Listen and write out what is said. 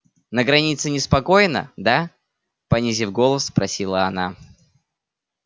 на границе неспокойно да понизив голос спросила она